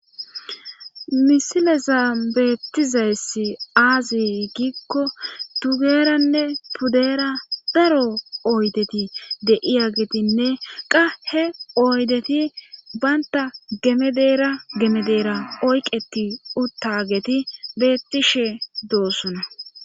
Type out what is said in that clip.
misilezaa beettizayssi aazi giikko tugeranne pudeera daro oydeti deiya getinne qahe oydeti baynta gemedeera gemedeera oyqeti uttageti beettishe doossuna